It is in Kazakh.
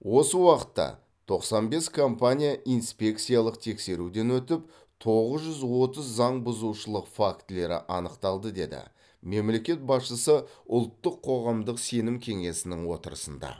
осы уақытта тоқсан бес компания инспекциялық тексеруден өтіп тоғыз жүз отыз заңбұзушылық фактілері анықталды деді мемлекет басшысы ұлттық қоғамдық сенім кеңесінің отырысында